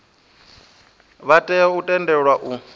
vha tea u tendelwa u